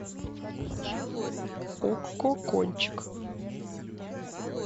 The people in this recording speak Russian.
окко кончик